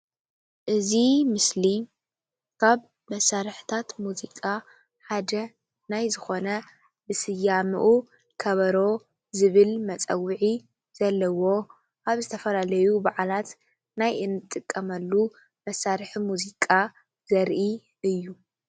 እዚ ምስሊ ካብ መሳርሕታት ሙዚቃ ሓደ ናይ ዝኾነ ብስያምኡ ከበሮ ዝብል መጸውዒ ዘለዎ ኣብ ዝተፈላለዩ በዓላት ናይ እንጥቀመሉ መሳርሒ ሙዚቃ ዘርኢ እዩ።